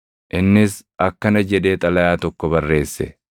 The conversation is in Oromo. Innis akkana jedhee xalayaa tokko barreesse.